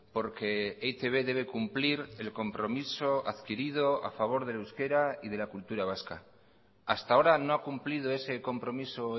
porque e i te be debe cumplir el compromiso adquirido a favor del euskera y de la cultura vasca hasta ahora no ha cumplido ese compromiso